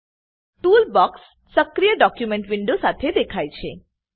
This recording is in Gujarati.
ટૂલબોક્સ સક્રિય ડોક્યુમેન્ટવિન્ડો સાથે દેખાય છે